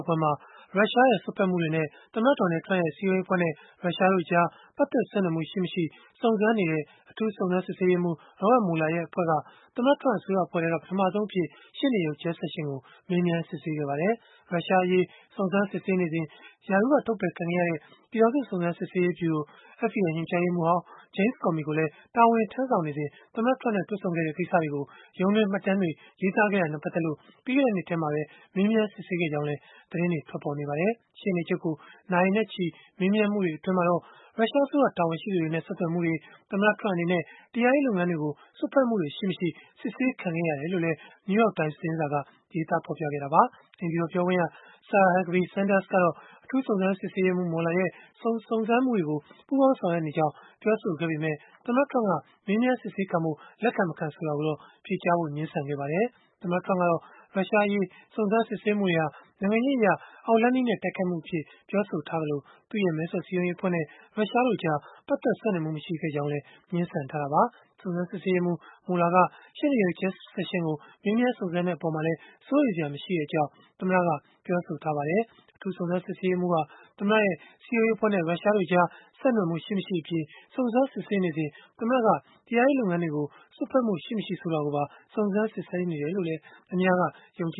်ပွဲမှာ ရုရှားရဲ့ စွက်ဖက်မှုတွေနဲ့ သမ္မတ Donald Trump ရဲ့ စည်းရုံးရေးအဖွဲ့နဲ့ ရုရှားတို့ကြား ပတ်သက် ဆက်နွယ်မှု ရှိမရှိ စုံစမ်းနေတဲ့ အထူးစစ်ဆေးရေးမှူး Robert Mueller ရဲ့ အဖွဲ့က သမ္မတ Trump အစိုးရအဖွဲ့ထဲက ပထမဆုံးအဖြစ် ရှေ့နေချုပ် Jeff Sessions ကို မေးမြန်းစစ်ဆေးခဲ့ပါတယ်။ ရုရှားအရေး စုံစမ်းစစ်ဆေးနေစဉ် ရာထူးကထုတ်ပယ်ခံခဲ့ရတဲ့ ပြည်ထောင်စု စုံစမ်းစစ်ဆေးရေးဗျုရို (FBI) ညွှန်ကြားရေးမှူးဟောင်း James Comey ကိုလည်း တာဝန်ထမ်းဆောင်နေစဉ် သမ္မတ Trump နဲ့ တွေ့ဆုံခဲ့တဲ့ ကိစ္စတွေကို ရုံးတွင်းမှတ်တမ်းတွေ ရေးသားခဲ့တာနဲ့ ပတ်သက်လို့ ပြီးခဲ့တဲ့နှစ်ထဲမှာပဲ မေးမြန်းစစ်ဆေးခဲ့ကြောင်းလည်း သတင်းတွေ ထွက်ပေါ်နေပါတယ်။ ရှေ့နေချုပ်ကို နာရီနဲ့ချီ မေးမြန်းမှုတွေ အတွင်းမှာတော့ ရုရှားအစိုးရ တာဝန်ရှိသူတွေနဲ့ ဆက်သွယ်မှုတွေ၊ သမ္မတ Trump အနေနဲ့ တရားရေးလုပ်ငန်းတွေကို စွက်ဖက်မှုတွေ ရှိမရှိ စစ်ဆေးခံခဲ့ရတယ်လို့လည်း New York Times သတင်းစာက ဖော်ပြခဲ့တာပါ။ အိမ်ဖြူတော် ပြောခွင့်ရ Sarah Huckabee Sanders ကတော့ အထူးစုံစမ်းစစ်ဆေးရေးမှူး Mueller ရဲ့ စုံစမ်းမှုတွေကို ပူးပေါင်းဆောင်ရွက်နေကြောင်း ပြောဆိုခဲ့ပေမဲ့၊ သမ္မတ Trump က မေးမြန်းစစ်ဆေးခံဖို့ လက်ခံ၊ မခံ ဆိုတာကိုတော့ ဖြေကြားဖို့ ငြင်းဆန်ခဲ့ပါတယ်။ သမ္မတ Trump ကတော့ ရုရှားအရေး စုံစမ်းစစ်ဆေးမှုတွေဟာ နိုင်ငံရေးအရ အောက်လမ်းနည်းနဲ့ တိုက်ခိုက်မှု အဖြစ်နဲ့ ပြောဆိုထားသလို၊ သူ့ရဲ့ မဲဆွယ်စည်းရုံးရေးအဖွဲ့နဲ့ ရုရှားတို့ကြား ပတ်သက်ဆက်နွယ်မှု မရှိခဲ့ကြောင်းလည်း ငြင်းဆန်ထားတာပါ။ စုံစမ်းစစ်ဆေးရေးမှူး Mueller က ရှေ့နေချုပ် Sessions ကိုမေးမြန်းစုံစမ်းတဲ့အပေါ်မှာလည်း စိုးရိမ်စရာမရှိကြောင်း သမ္မတက ပြောဆိုထားပါတယ်။ အထူးစုံစမ်းစစ်ဆေးရေးမှူးဟာ သမ္မတရဲ့ စည်းရုံးရေးအဖွဲ့နဲ့ ရုရှားတို့ကြား ဆက်နွယ်မှု ရှိမရှိအပြင်၊ စုံစမ်းစစ်ဆေးနေစဉ် သမ္မတက တရားရေး လုပ်ငန်းတွေကို စွက်ဖက်မှု ရှိမရှိ ဆိုတာကိုပါ စုံစမ်းနေတယ်လို့လည်း အများက ယူဆနေကြ